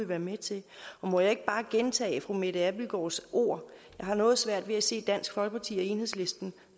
være med til og må jeg ikke bare gentage fru mette abildgaards ord jeg har noget svært ved at se dansk folkeparti og enhedslisten